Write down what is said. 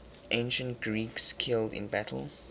ancient greeks killed in battle